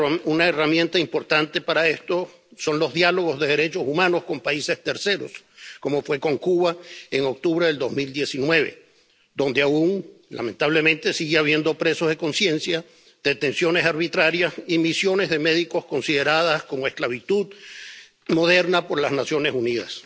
Una herramienta importante para esto son los diálogos de derechos humanos con países terceros, como se hizo con Cuba en octubre de 2019, donde aún, lamentablemente, sigue habiendo presos de conciencia, detenciones arbitrarias y misiones de médicos consideradas como esclavitud moderna por las Naciones Unidas.